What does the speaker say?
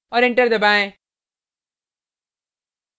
और enter दबाएँ